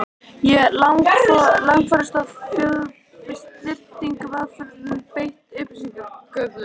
Langoftast var þó hljóðlátum og snyrtilegum aðferðum beitt við upplýsingaöflun.